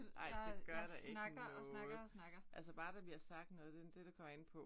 Ej det gør da ikke noget. Altså bare da vi har sagt noget det det det kommer an på